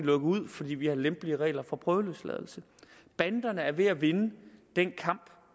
ud fordi vi har lempelige regler for prøveløsladelse banderne er ved at vinde den kamp